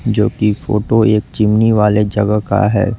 जो कि फोटो एक चिमनी वाले जगह का है।